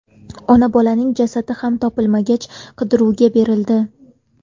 Ona-bolaning jasadi ham topilmagach, qidiruvga berildi.